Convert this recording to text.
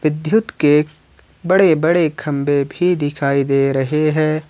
के बड़े बड़े खंबे भी दिखाई दे रहे हैं।